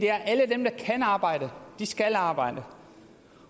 er at alle dem der kan arbejde skal arbejde